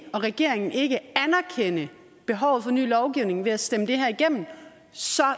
regeringen ikke anerkende behovet for ny lovgivning ved at stemme det her igennem og så